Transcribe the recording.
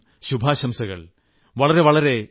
വളരെ വളരെയധികം ശുഭാശംസകൾ